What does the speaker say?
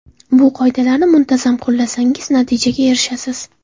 Bu qoidalarni muntazam qo‘llasangiz, natijaga erishasiz.